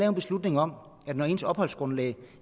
en beslutning om at når ens opholdsgrundlag